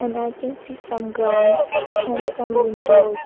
And I can see some grounds and some windows.